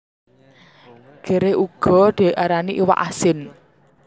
Gerèh uga diarani iwak asin